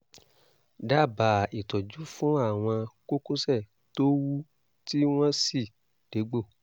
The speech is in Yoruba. dábàá ìtọ́jú fún àwọn kókósẹ̀ tó wú tí wọ́n sì dégbò